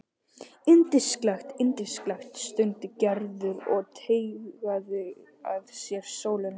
Yndislegt, yndislegt stundi Gerður og teygaði að sér sólina.